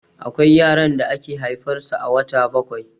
Akwai yaran da ake haifar su a wata bakwai